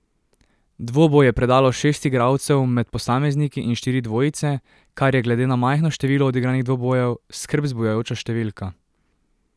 Dvoboj je predalo šest igralcev med posamezniki in štiri dvojice, kar je glede na majhno število odigranih dvobojev skrb zbujajoča številka.